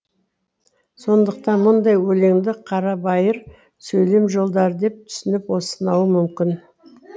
сондықтан мұндай өлеңді қарабайыр сөйлем жолдары деп түсініп сынауы мүмкін